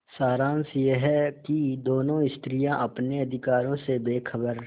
सारांश यह कि दोनों स्त्रियॉँ अपने अधिकारों से बेखबर